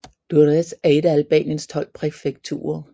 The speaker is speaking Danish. Durrës er et af Albaniens tolv præfekturer